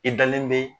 I dalen bɛ